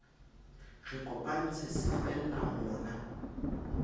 re kopantse se fella hona